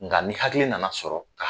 Nka ni hakili nana sɔrɔ ka